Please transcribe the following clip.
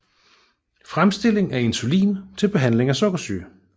Fremstilling af insulin til behandling af sukkersyge